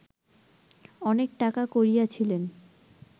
অনেক টাকা করিয়াছিলেন